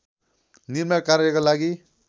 निर्माण कार्यका लागि